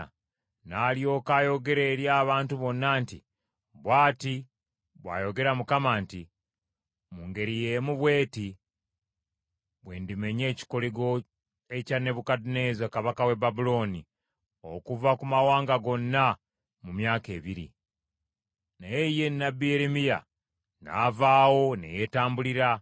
n’alyoka ayogera eri abantu bonna nti, “Bw’ati bw’ayogera Mukama nti, ‘Mu ngeri y’emu bw’eti, bwe ndimenya ekikoligo ekya Nebukadduneeza kabaka w’e Babulooni okuva ku mawanga gonna mu myaka ebiri.’ ” Naye ye nnabbi Yeremiya n’avaawo ne yeetambulira.